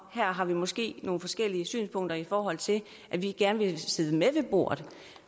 her har vi måske nogle forskellige synspunkter i forhold til at vi gerne vil sidde med ved bordet